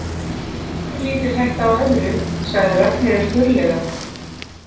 Það er lítil hætta á öðru, sagði Ragnheiður þurrlega.